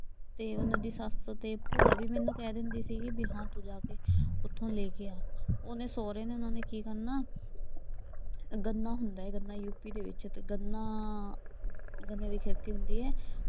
ਤੇ ਉਨ੍ਹਾਂ ਦੀ ਸੱਸ ਤੇ ਭੂਆ ਵੀ ਮੈਨੂੰ ਕਹਿ ਦਿੰਦੀ ਸੀ ਵੀ ਹਾਂ ਤੂੰ ਜਾ ਕੇ ਉਥੋਂ ਲੈ ਕੇ ਆ। ਉਹਨੇ ਸਹੁਰੇ ਨੇ ਉਨ੍ਹਾਂ ਨੇ ਕੀ ਕਰਨਾ ਗੰਨਾ ਹੁੰਦਾ ਏ ਗੰਨਾ ਯੂ ਪੀ ਦੇ ਵਿੱਚ ਗੰਨਾ, ਗੰਨੇ ਦੀ ਖੇਤੀ ਹੁੰਦੀ ਏ।